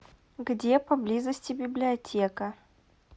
где поблизости библиотека